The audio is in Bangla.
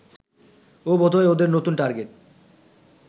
ওই বোধহয় ওদের নতুন টার্গেট